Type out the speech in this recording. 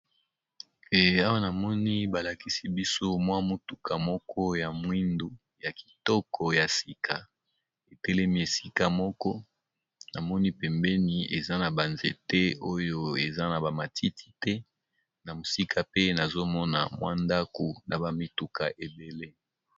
E awa namoni balakisi biso mwa motuka moko ya mwindu ya kitoko ya sika etelemi esika moko na moni pembeni eza na ba nzete oyo eza na ba matiti te na mosika pe nazomona mwa ndako na ba mituka ebele.